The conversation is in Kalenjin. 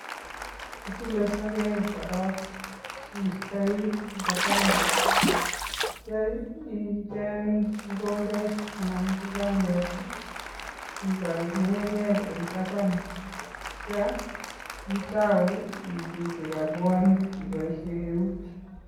Itile sogek korok iistoi koba taban atya icheng mokombet anan ko banket ipal ng'ung'unyek eng tapan atya itou ichutu robwonik iboishe eut.